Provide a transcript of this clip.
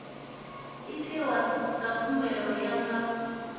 itiwa dza khumbelo ya nga